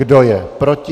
Kdo je proti?